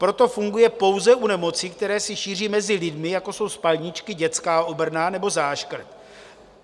Proto funguje pouze u nemocí, které se šíří mezi lidmi, jako jsou spalničky, dětská obrna nebo záškrt.